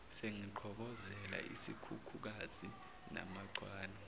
sengiqhobozela isikhukhukazi namachwane